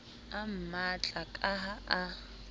a mmatla ka ha a